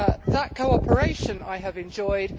That cooperation I have enjoyed